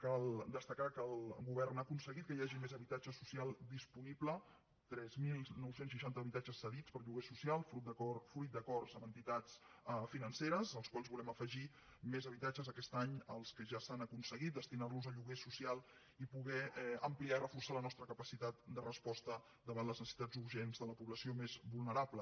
cal destacar que el govern ha aconseguit que hi hagi més habitatge social disponible tres mil nou cents i seixanta habitatges cedits per a lloguer social fruit d’acords amb entitats financeres als quals volem afegir més habitatges aquest any els que ja s’han aconseguit destinar los a lloguer social i poder ampliar i reforçar la nostra capacitat de resposta davant les necessitats urgents de la població més vulnerable